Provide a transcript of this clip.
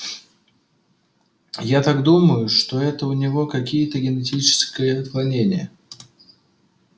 я так думаю что это у него какие-то генетическое отклонение